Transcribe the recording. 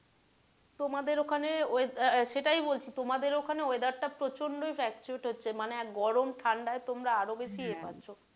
তোমাদের ওখানে সেটাই বলছি তোমাদের ওখানে weather টা প্রচণ্ড ই fluctuate হচ্ছে মানে গরম ঠাণ্ডায় তোমরা আরও বেশি ইয়ে হচ্ছো।